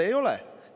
Ei ole!